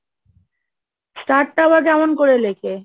star টা আবার কেমন করে লেখে?